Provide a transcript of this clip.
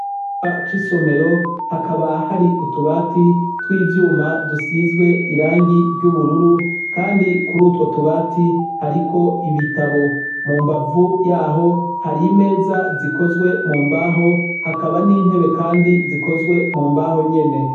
Icumba c'isomero, hakaba hari utubati tw'ivyuma dusizwe irangi ry'ubururu. Kandi kuri utwo tubati, hariko ibitabo. Mu mbavu y'aho hari imeza zikozwe mu mbaho. Hakaba n'intebe kandi zikozwe mu mbaho nyene.